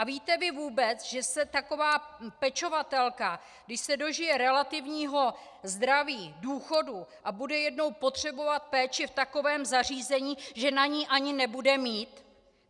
A víte vy vůbec, že se taková pečovatelka, když se dožije relativního zdraví, důchodu a bude jednou potřebovat péči v takovém zařízení, že na ni ani nebude mít?